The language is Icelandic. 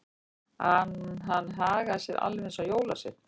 Að hann hagaði sér alveg eins og jólasveinn.